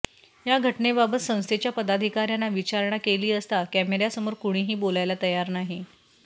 या घटनेबाबत संस्थेच्या पदाधिकाऱ्यांना विचारणा केली असता कॅमेऱ्यासमोर कुणीही बोलायला तयार नाही